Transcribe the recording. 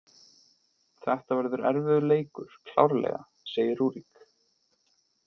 Þetta verður erfiður leikur, klárlega, segir Rúrik.